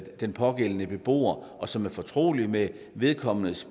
den pågældende beboer og som er fortrolige med vedkommendes